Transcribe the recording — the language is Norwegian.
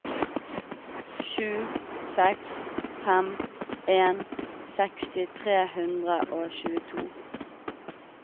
sju seks fem en seksti tre hundre og tjueto